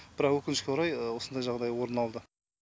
бірақ өкінішке орай осындай жағдай орын алды